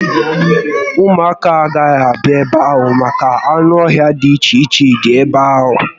Ụmụaka agaghi abịa ebe ahụ maka na anụ ọhia di iche iche dịcha ebe ahụ